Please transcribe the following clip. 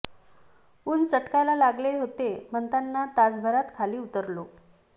ऊन चटकायला लागले होते म्हणताना तासाभरात खाली उतरलो